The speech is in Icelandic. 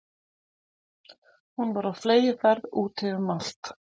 Hún var á fleygiferð úti um allt.